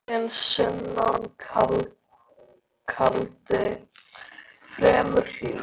Rigning allan daginn, sunnan kaldi, fremur hlýtt.